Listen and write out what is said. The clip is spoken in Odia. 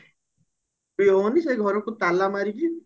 ବିକ୍ରି ହଉନି ସେ ଘରକୁ ତାଲା ମାରିକି